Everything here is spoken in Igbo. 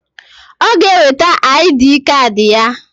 Ọ g'eweta aịdịị kad ya.